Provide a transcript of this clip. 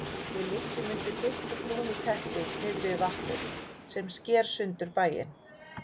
Við liggjum undir þykku brúnu teppi niðri við vatnið sem sker sundur bæinn.